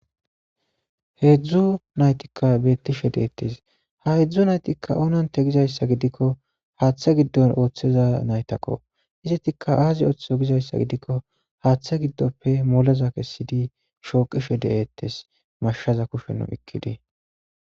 heedzdzu naytikka bettishe deettes ha hedzdzu naytikka onante gizayssa gidikko haaththa giddon ooththeza naytakko izetikka aazi ooththezo gizayssa gidikko haaththa giddoppe moleza kessidi shooqishe de7eettes mashaza kushennu ikkidi